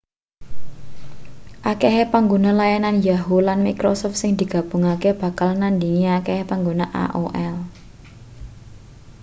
akehe pangguna layanan yahoo lan microsoft sing digabungake bakal nandhingi akehe pangguna aol